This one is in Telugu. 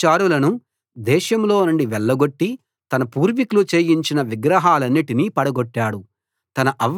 మగ వ్యభిచారులను దేశంలోనుండి వెళ్లగొట్టి తన పూర్వీకులు చేయించిన విగ్రహాలన్నిటినీ పడగొట్టాడు